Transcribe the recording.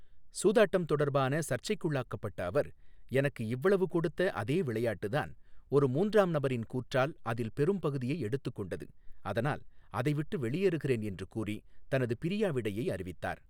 சூதாட்டம் தொடர்பான சர்ச்சைக்குள்ளாக்கப்பட்ட அவர், எனக்கு இவ்வளவு கொடுத்த அதே விளையாட்டுதான், ஒரு மூன்றாம் நபரின் கூற்றால் அதில் பெரும் பகுதியை எடுத்துக் கொண்டது, அதனால் அதைவிட்டு வெளியேறுகிறேன் என்று கூறி தனது பிரியாவிடையை அறிவித்தார்.